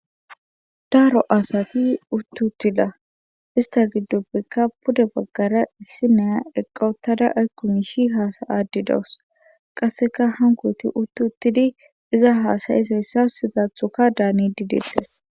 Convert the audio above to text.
daaro asati uttutida ista giddupbikka pude baggara issi neya eqqootada aykumishi haasayadi dawus qasseka hankoti uttuttidi iza haasayisayssa sidathoka daani siyettes